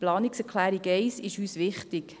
Die Planungserklärung 1 ist uns wichtig: